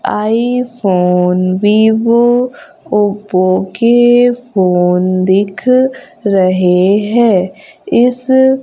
आई phone Vivo Oppo के phone दिख रहे हैं इस--